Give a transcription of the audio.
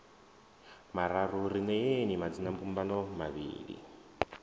mararu ri neeni madzinambumbano mavhili